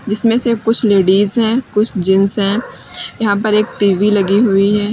जिसमें से कुछ लेडिस है कुछ जेंट्स है यहां पर एक टी_वी लगी हुई है।